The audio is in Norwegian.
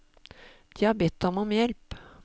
De har bedt ham om hjelp.